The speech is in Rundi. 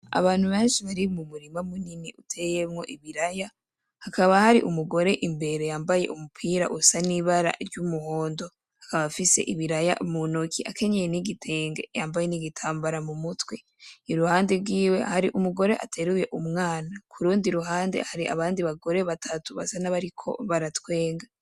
Abantu benshi bari mu murima munini uteyemwo ibiraya hakaba hari umugore imbere yambaye umupira usa n'ibara ry'umuhondo, akaba afise ibiraya muntoki akenyeye n'igitenge yambaye n'igitambara mumutwe, iruhande gwiwe hari umugore ateruye umwana kurundi ,ruhande hari abandi bagore batatu basa nabariko baratwenga.